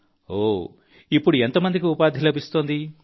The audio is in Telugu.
ప్రధాన మంత్రి గారు ఇప్పుడు ఎంత మందికి ఉపాధి లభిస్తుంది